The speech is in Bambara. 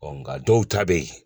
nka dɔw ta bɛ ye